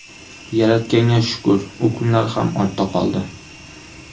Yaratganga shukur, u kunlar ham ortda qoldi.